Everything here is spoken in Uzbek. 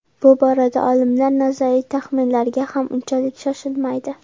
Bu borada olimlar nazariy taxminlarga ham unchalik shoshilmaydi.